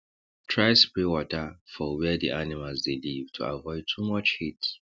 try spray water for where d animals dey live to avoid too much heat